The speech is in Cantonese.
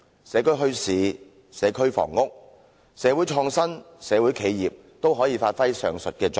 社區墟市、社區房屋、社會創新、社會企業都可以發揮上述作用。